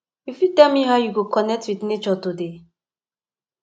you fit tell me how you go connect with nature today